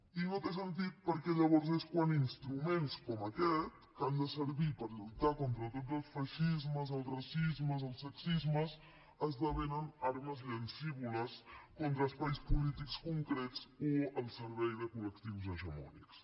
i no té sentit perquè llavors és quan instruments com aquest que han de servir per lluitar contra tots els feixismes els racismes els sexismes esdevenen armes llancívoles contra espais polítics concrets o al servei de col·lectius hegemònics